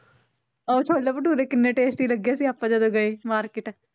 ਉਹ ਛੋਲੇ ਭਟੂਰੇ ਕਿੰਨੇ tasty ਲੱਗੇ ਸੀ ਆਪਾਂ ਜਦੋਂ ਗਏ market